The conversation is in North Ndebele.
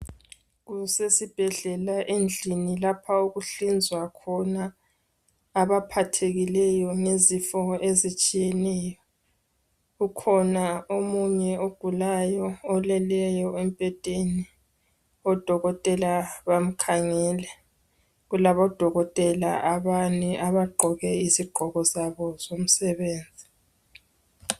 Kusesibhedlela endlini lapha okuhlinzwa khona abaphathekileyo ngezifo ezitshiyeneyo. Kukhona omunye ogulayo oleleyo embhedeni. Odokotela bamkhangele. Kulabodokotela abane abagqoke izigqoko zabo zomsebenzi.